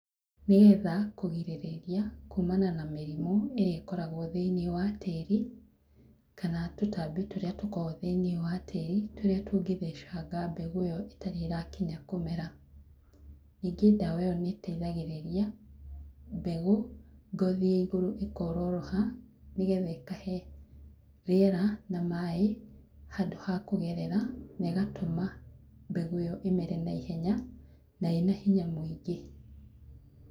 Nĩgetha kũgirĩrĩria, kuumana na mĩrimu, ĩrĩa ĩkoragwo thĩiniĩ wa tíĩri, kana tũtambĩ tũrĩa tũrĩa tũkoragwo thĩiniĩ wa tíĩri, tũrĩa tũngĩthecanga mbegũ ĩyo ĩtarĩ ĩrakinya kũmera. Ningĩ ndawa ĩyo nĩ ĩteithagĩrĩria mbegũ, ngothi ya igũrũ ĩkororoha nĩgetha ikahe rĩera na maaĩ, handũ ha kũgerera na ĩgatũma mbegũ ĩyo imere na ihenya na ĩna hinya mũingĩ.